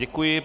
Děkuji.